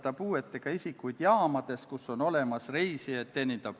Ma palun ettekandjaks riigikaitsekomisjoni liikme Leo Kunnase.